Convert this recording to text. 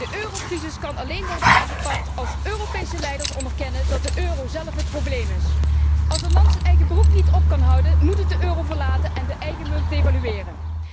De eurocrisis kan alleen worden aangepakt als Europese leiders onderkennen dat de euro zelf het probleem is. Als een land zijn eigen broek niet op kan houden, moet het de eurozone verlaten en de eigen munt devalueren.